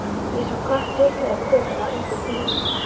Ég sá kött trítla yfir götuna undir bíl.